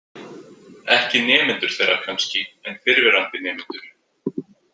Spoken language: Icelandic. Ekki nemendur þeirra kannski en fyrrverandi nemendur.